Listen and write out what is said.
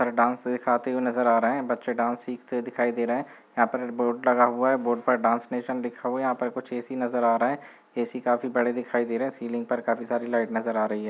पर डांस सीखाते हुए नज़र आ रहे है बच्चे डांस सीखते दिखाई दे रहे है यहाँ पर बोर्ड लगा हुआ है बोर्ड पर डांस नेशन लिखा हुआ है यहाँ पर कुछ ए.सी. नजर आ रहे है ए.सी. काफी बड़े दिखाई दे रहे है सीलिंग पर काफ़ी सारी लाईट नजर आ रही हैं।